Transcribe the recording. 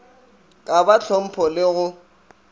ka ba hlompho le go